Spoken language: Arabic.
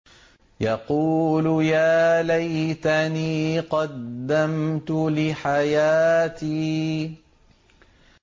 يَقُولُ يَا لَيْتَنِي قَدَّمْتُ لِحَيَاتِي